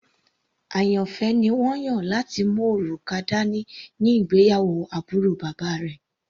Àyànfẹ́ ni wọ́n yàn láti mú òrùka dání ní ìgbéyàwó àbúrò bàbá rẹ̀.